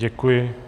Děkuji.